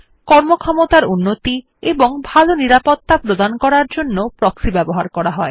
কর্মক্ষমতার উন্নতি এবং ভাল নিরাপত্তা প্রদান করার জন্য প্রক্সি ব্যবহার করা হয়